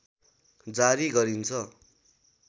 जारी गरिन्छ